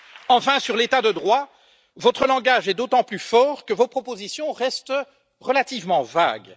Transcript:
Enfin, sur l'état de droit, votre langage est d'autant plus fort que vos propositions restent relativement vagues.